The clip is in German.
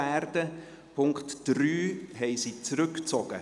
Den Punkt 3 haben sie zurückgezogen.